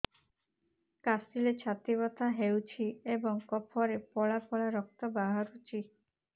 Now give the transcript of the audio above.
କାଶିଲେ ଛାତି ବଥା ହେଉଛି ଏବଂ କଫରେ ପଳା ପଳା ରକ୍ତ ବାହାରୁଚି